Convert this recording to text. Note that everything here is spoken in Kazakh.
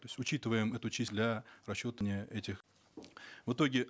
то есть учитываем эту часть для расчета этих в итоге